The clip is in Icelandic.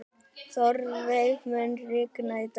Þórveig, mun rigna í dag?